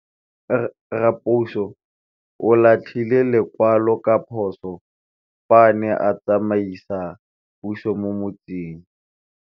Raposo o latlhie lekwalô ka phosô fa a ne a tsamaisa poso mo motseng.